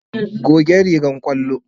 Goge rigar ƙwallo.